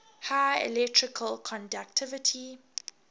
high electrical conductivity